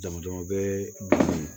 Dama dama bɛ